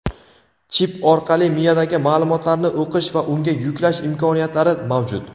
chip orqali miyadagi ma’lumotlarni o‘qish va unga yuklash imkoniyatlari mavjud.